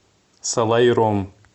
салаиром